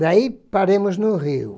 Daí paramos no rio.